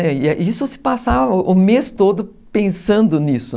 E isso se passava o mês todo pensando nisso.